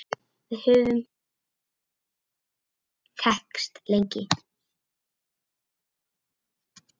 Við höfum þekkst lengi.